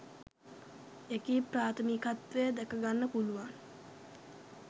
එකී ප්‍රාථමිකත්වය දැකගන්න පුළුවන්.